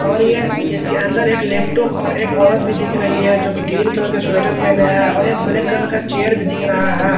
और यह इसके अंदर एक लैपटॉप और एक औरत भी दिख रही है जो कि ग्रीन कलर का स्वेटर पहने हैं और एक ब्लैक कलर का चेयर भी दिख रहा है।